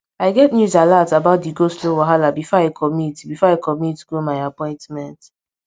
i get news alat about di goslow wahala before i commit before i commit go my appointment